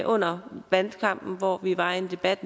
under valgkampen hvor vi var i en debat